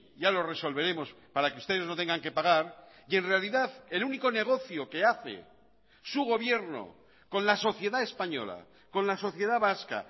ya lo resolveremos para que ustedes no tengan que pagar y en realidad el único negocio que hace su gobierno con la sociedad española con la sociedad vasca